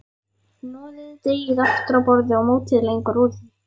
Hnoðið deigið aftur á borði og mótið lengjur úr því.